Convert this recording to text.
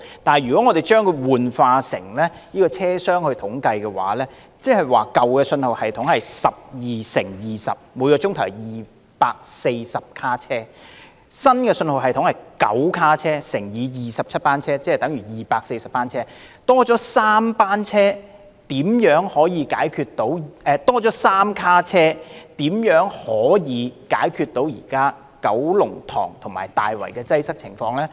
但是，當我們轉化以車廂來作統計，舊信號系統是12節車廂乘20班車，每小時有240節車廂，新信號系統是9節車廂乘27班車，即等於243節車廂，只多了3節車廂的載客量，這如何能解決現時九龍塘及大圍的擠迫情況？